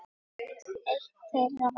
Eitt þeirra var